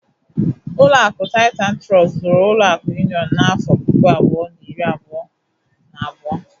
Ụlọakụ Titan Trọst zụrụ ụlọakụ Union n'afọ puku abụọ na iri abụọ na abụọ.